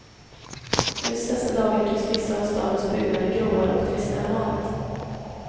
Just dessa dagar tycks vissa av stadens byggnader gråare och tristare än vanligt.